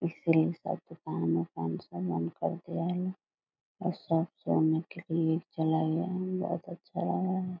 इसलिए सब दुकान उकान सब बंद कर दिया है और सच जानने के लिए चला गया है बहुत अच्छा लग रहा है।